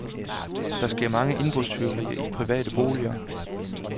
Der sker mange indbrudstyverier i private boliger.